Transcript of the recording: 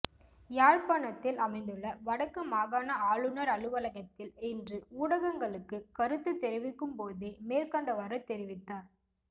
யாழ்ப்பாணத்தில் அமைந்துள்ள வடக்கு மாகாண ஆளுநர் அலுவலகத்தில் இன்று ஊடகங்களுக்கு கருத்து தெரிவிக்கும்போதே மேற்கண்டவாறு தெரிவித்தார்